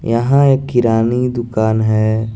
यहां एक कीरानी दुकान है।